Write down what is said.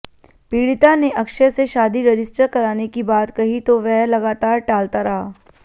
पीडि़ता ने अक्षय से शादी रजिस्टर कराने की बात कही तो वह लगातार टालता रहा